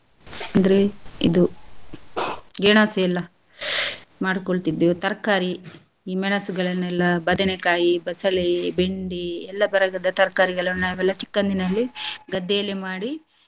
ಅಂದ್ರೆ ಇದು ಗೆಣಸು ಎಲ್ಲಾ ಮಾಡ್ಕೋಳ್ತಿದ್ವಿ ತರ್ಕಾರಿ ಈ ಮೆಣಸುಗಳನ್ನೆಲ್ಲ ಬದನೇ ಕಾಯಿ, ಬಸಳೆ, ಬೆಂಡಿ ಎಲ್ಲ ವರ್ಗದ ತರಕಾರೀಗಳನ್ನ ನಾವೆಲ್ಲ ಚಿಕ್ಕಂದಿನಲ್ಲಿ ಗದ್ದೆಯಲ್ಲಿ ಮಾಡಿ.